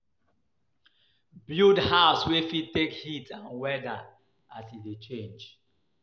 Build house wey fit take heat and weather as e dey change